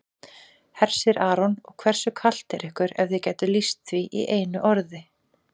Hersir Aron: Og hversu kalt er ykkur ef þið gætuð lýst því í einu orði?